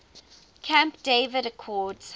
camp david accords